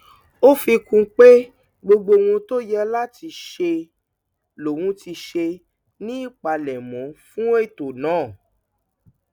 ó fi kún un pé gbogbo ohun tó yẹ láti ṣe lòun ti ṣe ní ìpalẹmọ fún ètò náà